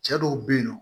Cɛ dɔw be yen nɔ